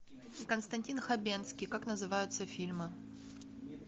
константин хабенский как называются фильмы